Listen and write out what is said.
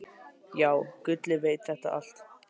Já, Gulli veit þetta allt.